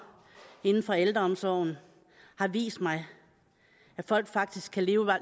inden for ældreomsorgen har vist mig at folk faktisk kan leve